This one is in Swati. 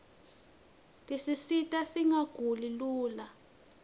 tisita singaguli lula